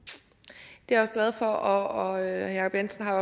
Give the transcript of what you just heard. det er jeg også glad for og herre jacob jensen har